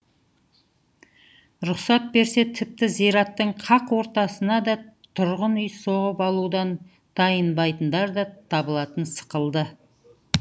рұқсат берсе тіпті зираттың қақ ортасына да тұрғын үй соғып алудан тайынбайтындар да табылатын сықылды